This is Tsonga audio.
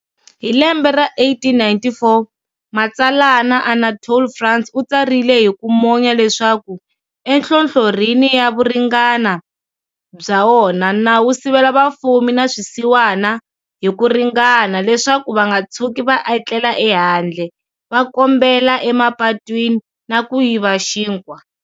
Hi lembe ra 1894, matsalana Anatole France u tsarile hiku monya leswaku,"Enhlohlorhini ya vuringani bya wona, nawu wu sivela vafumi na swisiwana hi ku ringana leswaku vanga tshuki va etlela e handle, va kombela e mapatwini, na ku yiva xinkwa."